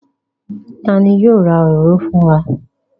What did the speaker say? Ta ni yóò ra òróró fún wa?